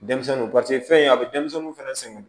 Denmisɛnninw paseke fɛn ye a bɛ denmisɛnninw fɛnɛ sɛgɛn